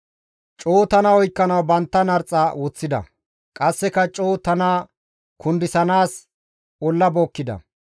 Coo tana oykkanawu bantta narxa woththida; qasseka coo tana kundisanaas olla bookkida.